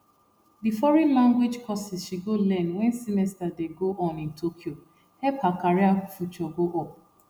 the foreign language courses she go learn wen semester dey go on in tokyo help her career future go up